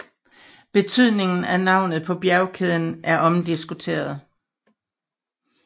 Betydningen af navnet på bjergkæden er omdiskuteret